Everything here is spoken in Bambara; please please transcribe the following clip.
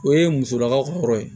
O ye musolakaw ka yɔrɔ ye